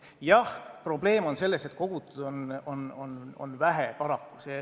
Jah, probleem on selles, et kogutud on vähe, paraku.